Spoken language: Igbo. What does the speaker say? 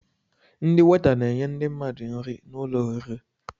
Ndị weeta na-enye ndi mmadụ nri n'ụlọ oriri